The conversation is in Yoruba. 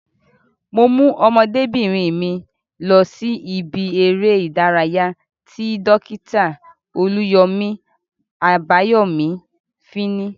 Mo mú ọmọdébìnrin mi lọ sí ibi eré ìdárayá ti Dókítà Olúyọ̀mí Àbáyọ̀mí fíní